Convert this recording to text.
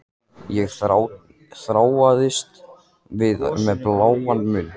Ég þráaðist við með bláan munn.